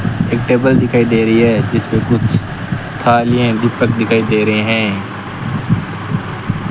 एक टेबल दिखाई दे रही है जिसपे कुछ थालियें दीपक दिखाई दे रहे हैं।